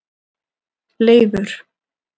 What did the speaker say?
Leifur